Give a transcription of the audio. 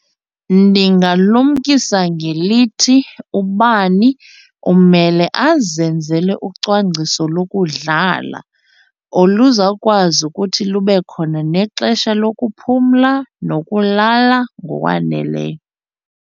Ndingalumkisa ngelithi ubani umele azenzele ucwangciso lokudlala oluzawukwazi ukuthi lube khona nexesha lokuphumla nokulala ngokwaneleyo.